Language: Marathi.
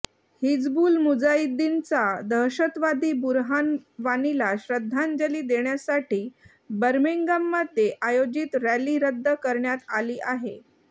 हिजबुल मुजाहिद्दीनचा दहशतवादी बुरहान वानीला श्रद्धांजली देण्यासाठी बर्मिंगहॅमध्ये आयोजित रॅली रद्द करण्यात आली आहे